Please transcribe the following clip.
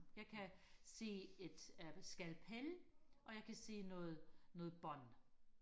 jeg kan se et øh skalpel og jeg kan se noget noget bånd